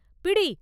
“பிடி!